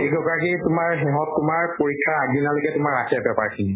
তোমাৰ সিহঁত তোমাৰ পৰীক্ষাৰ আগ্দিনালৈকে তোমাৰ ৰাখে paper খিনি